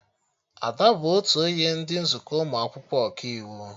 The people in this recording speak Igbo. Ada bụ otu onye ndị nzukọ ụmụ akwụkwọ Ọkaiwu